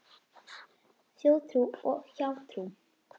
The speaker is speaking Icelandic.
Þjóðtrú og hjátrú